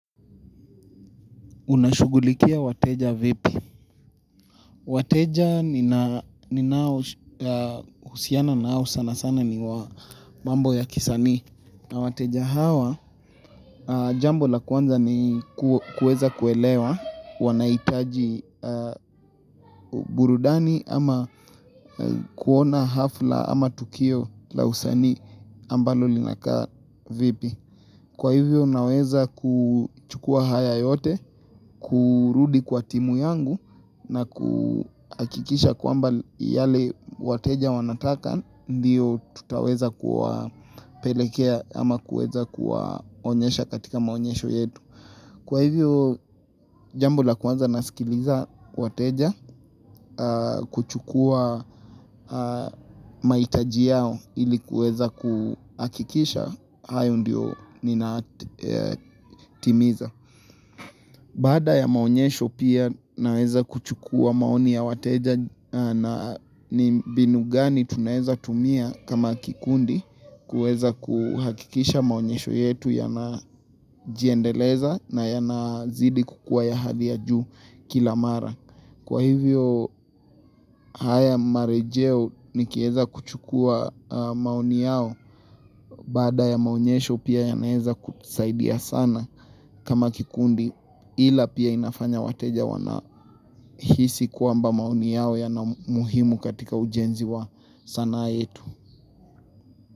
Unashugulikia wateja vipi. Wateja ni nao usiana nao sana sana ni mambo ya kisanii na wateja hawa jambo la kwanza ni kueza kuelewa wanaitaji burudani ama kuona hafla ama tukio la usanii ambalo linakaa vipi. Kwa hivyo naweza kuchukua haya yote, kurudi kwa timu yangu na ku akikisha kwamba yale wateja wanataka ndiyo tutaweza kuwa pelekea ama kueza kuwa onyesha katika maonyesho yetu. Kwa hivyo, jambo la kwaza nasikiliza wateja kuchukua maitaji yao ilikuweza kuhakikisha, hayo ndio ninaatimiza. Baada ya maonyesho pia naweza kuchukua maoni ya wateja na ni binu gani tunaweza tumia kama kikundi kueza kuhakikisha maonyesho yetu yana jiendeleza na yana zidi kukua ya hadhi ya juu kilamara. Kwa hivyo haya marejeo nikieza kuchukua maoni yao baada ya maunyesho pia yanaeza kusaidia sana kama kikundi ila pia inafanya wateja wanahisi kuamba maoni yao yanamuhimu katika ujenzi wa sanaa yetu.